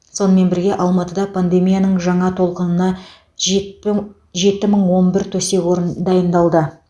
сонымен бірге алматыда пандемияның жаңа толқынына жетпүң жеті мың он бір төсек орын дайындалды